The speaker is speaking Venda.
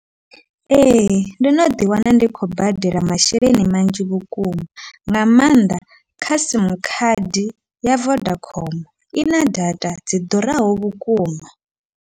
Ee, ndo no ḓi wana ndi khou badela masheleni manzhi vhukuma, nga maanḓa kha simu khadi ya Vodacom ina data dzi ḓuraho vhukuma.